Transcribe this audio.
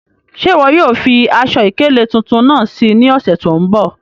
Ṣẹ́ iwọ yóò fí aṣọ-ikele tuntun naá sí ní òṣè tó nbọ̀?